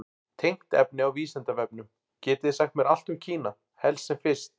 Tengt efni á Vísindavefnum: Getið þið sagt mér allt um Kína, helst sem fyrst?